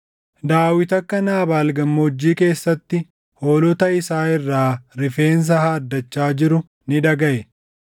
Daawit akka Naabaal Gammoojjii keessatti hoolota isaa irraa rifeensa haaddachaa jiruu ni dhagaʼe.